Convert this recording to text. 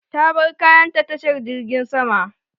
Ta bar kayan ta tashar jirjin sama.